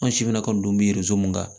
An si bɛna ka n'u mun kan